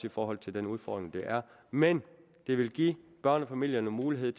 i forhold til den udfordring der er men det vil give børnefamilierne mulighed